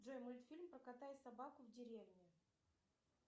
джой мультфильм про кота и собаку в деревне